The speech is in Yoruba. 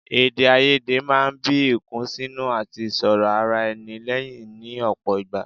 Èdèàìyedè máa ń bí ìkùnsínú àti ìṣòrọ̀ ara ẹni lẹ́yìn ní ọ̀pọ̀ ìgbà